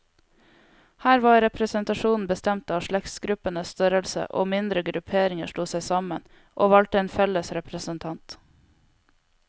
Her var representasjonen bestemt av slektsgruppenes størrelse, og mindre grupperinger slo seg sammen, og valgte en felles representant.